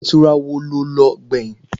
Ilé ìtura wò lo lọ gbẹ̀yìn?